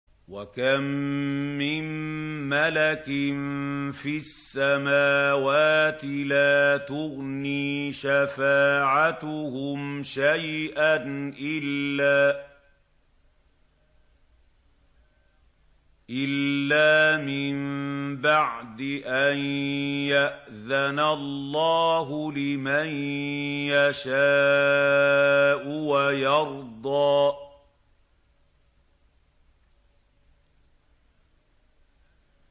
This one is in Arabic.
۞ وَكَم مِّن مَّلَكٍ فِي السَّمَاوَاتِ لَا تُغْنِي شَفَاعَتُهُمْ شَيْئًا إِلَّا مِن بَعْدِ أَن يَأْذَنَ اللَّهُ لِمَن يَشَاءُ وَيَرْضَىٰ